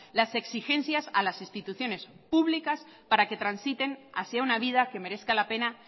las exigencias a las instituciones públicas para que transiten hacia una vida que merezca la pena